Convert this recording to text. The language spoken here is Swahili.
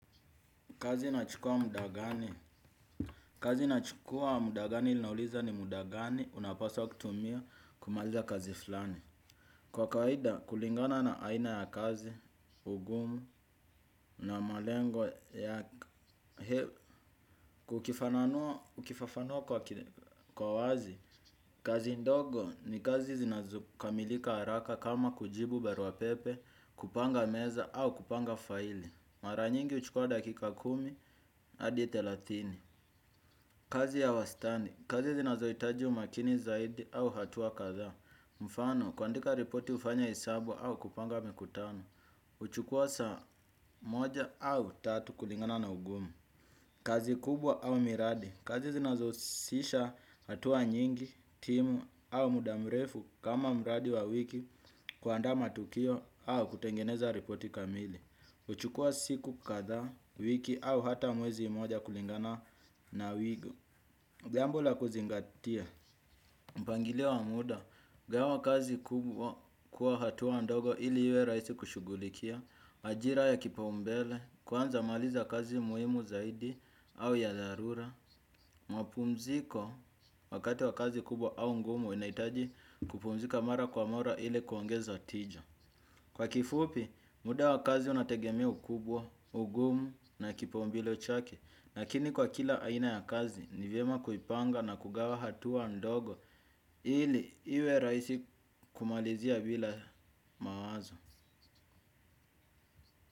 Kazi inachukua muda gani. Kazi inachukua muda gani linauliza ni muda gani unapasa wa kutumia kumaliza kazi fulani. Kwa kawaida kulingana na aina ya kazi ugumu na malengo yake ukifafanua kwa wazi. Kazi ndogo ni kazi zinazokamilika haraka kama kujibu barua pepe, kupanga meza au kupanga faili. Mara nyingi huchukua dakika kumi hadi thelathini. Kazi ya wastani. Kazi zinazohitaji umakini zaidi au hatua kadhaa. Mfano, kuandika ripoti hufanya hesabu au kupanga mikutano. Huchukua saa moja au tatu kulingana na ugumu. Kazi kubwa au miradi. Kazi zinazohusisha hatua nyingi, timu au muda mrefu kama mradi wa wiki kuandaa matukio au kutengeneza ripoti kamili. Huchukua siku kadhaa, wiki au hata mwezi mmoja kulingana na wigo. Jambo la kuzingatia, mpangilio wa muda, gawa kazi kubwa kwa hatua ndogo ili iwe rahisi kushughulikia majira ya kipaumbele kwanza maliza kazi muhimu zaidi au ya dharura, mapumziko wakati wa kazi kubwa au ngumu unahitaji kupumzika mara kwa mara ili kuongeza tija. Kwa kifupi, muda wa kazi unategemea ukubwa, ugumu na kipaumbele chake, lakini kwa kila aina ya kazi ni vyema kuipanga na kugawa hatua ndogo ili iwe rahisi kumalizia bila mawazo.